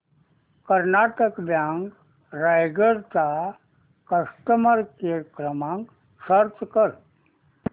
Karnataka bank Raigad चा customer care क्रमांक search कर